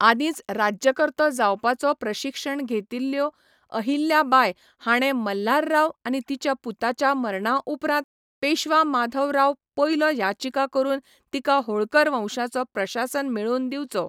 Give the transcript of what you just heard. आदींच राज्यकर्तो जावपाचो प्रशिक्षण घेतिल्लो अहिल्या बाय हाणें मल्हारराव आनी तिच्या पुताच्या मरणा उपरांत पेशवा माधव राव पयलो याचिका करून तिका होळकर वंशाचो प्रशासन मेळोवन दिवचो.